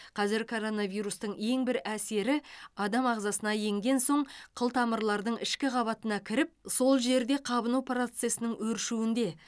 қазір коронавирустың ең бір әсері адам ағзасына енген соң қылтамырлардың ішкі қабатына кіріп сол жерде қабыну процесінің өршуінде